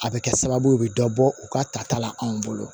A bɛ kɛ sababu ye u bɛ dɔ bɔ u ka tata la anw bolo